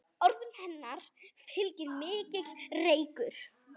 Orðum hennar fylgir mikill reykur.